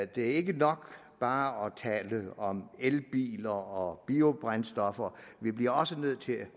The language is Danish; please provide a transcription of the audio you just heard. det er ikke nok bare at tale om elbiler og biobrændstoffer vi bliver også nødt til at